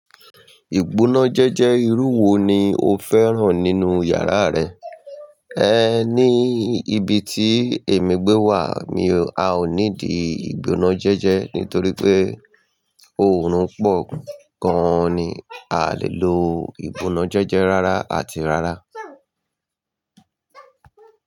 Ìgbónájẹ́jẹ́ irú wo ni o fẹ́ràn nínú yàrá rẹ? Ẹ ní ibi tí èmi gbé wà mi, a ò ní dì ìgbónájẹ́jẹ́ nítorí pé òórùn pọ̀ gan-an ni. A lè lo ìgbónájẹ́jẹ́ rárá àti rárá.